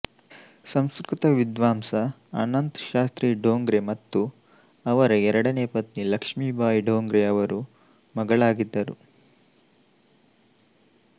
ಸಂಸ್ಕೃತ ವಿದ್ವಾಂಸ ಅನಂತ್ ಶಾಸ್ತ್ರಿ ಡೊಂಗ್ರೆ ಮತ್ತು ಅವರ ಎರಡನೇ ಪತ್ನಿ ಲಕ್ಷ್ಮಿಬಾಯಿ ಡೊಂಗ್ರೆ ಅವರು ಮಗಳಾಗಿದ್ದರು